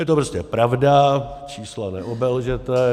Je to prostě pravda, čísla neobelžete.